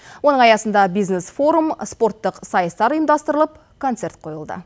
оның аясында бизнес форум спорттық сайыстар ұйымдастырылып концерт қойылды